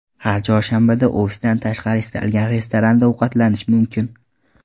Har chorshanbada ofisdan tashqari istalgan restoranda ovqatlanish mumkin.